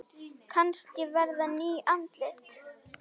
Kannski verða ný andlit.